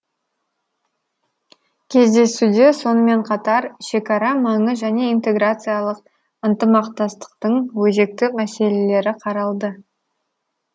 кездесуде сонымен қатар шекара маңы және интеграциялық ынтымақтастықтың өзекті мәселелері қаралды